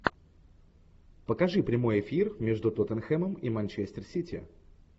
покажи прямой эфир между тоттенхэмом и манчестер сити